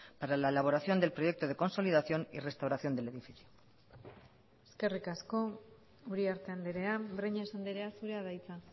para la elaboración del proyecto de consolidación y restauración del edificio eskerrik asko uriarte andrea breñas andrea zurea da hitza